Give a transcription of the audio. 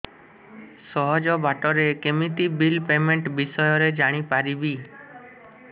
ସହଜ ବାଟ ରେ କେମିତି ବିଲ୍ ପେମେଣ୍ଟ ବିଷୟ ରେ ଜାଣି ପାରିବି